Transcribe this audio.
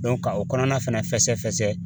ka o kɔnɔna fɛnɛ fɛsɛ fɛsɛ